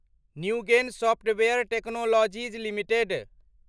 Newgen software technologies limited